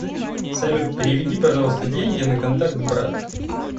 салют переведи пожалуйста деньги на контакт брат